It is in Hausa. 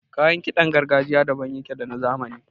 Kayan kiɗan gargajiya daban yake da na zamani.